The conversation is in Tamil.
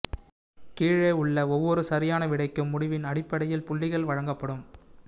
கீழே உள்ள ஒவ்வொரு சரியான விடைக்கும் முடிவின் அடிப்படையில் புள்ளிகள் வழங்கப்படும்